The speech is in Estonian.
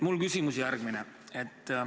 Minu küsimus on järgmine.